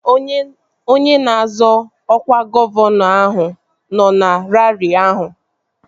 Onye na-azọ ọkwa gọvanọ ahụ nọ na raarị ahụ